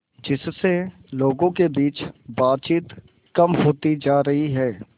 जिससे लोगों के बीच बातचीत कम होती जा रही है